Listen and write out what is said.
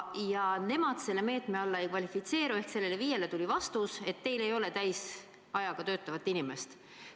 Ja nemad selle meetme alla ei kvalifitseeru – sellele FIE-le tuli vastus, et teil ei ole täisajaga töötavat inimest.